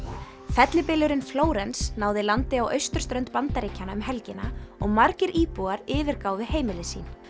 fellibylurinn Flórens náði landi á austurströnd Bandaríkjanna um helgina og margir íbúar yfirgáfu heimili sín